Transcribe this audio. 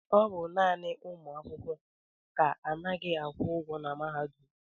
ọ bụ naanị ụmụ akwụkwọ ka anaghị akwụ ụgwọ na mahadum